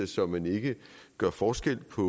så man ikke gør forskel på